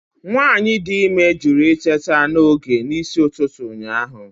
Nwanyị dị ime jụrụ iteta n'oge n'isi ụtụtụ ụnyaahụ.